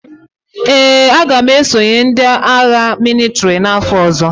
Ee, aga m esonye ndị agha mịlịtrị n'afọ ọzọ.